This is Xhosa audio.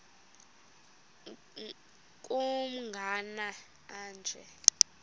nkr kumagama anje